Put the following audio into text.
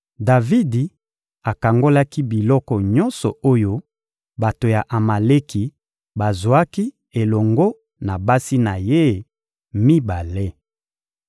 Davidi akangolaki biloko nyonso oyo bato ya Amaleki bazwaki elongo na basi na ye mibale.